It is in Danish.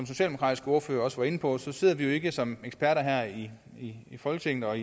socialdemokratiske ordfører også var inde på sidder vi jo ikke som eksperter her i i folketinget og